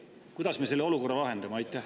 Kuidas me selle olukorra lahendame?